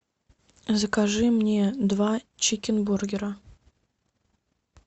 закажи мне два чикенбургера